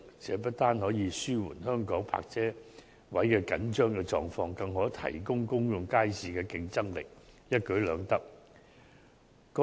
這不但可紓緩香港泊車位緊張的狀況，更可提高公眾街市的競爭力，一舉兩得。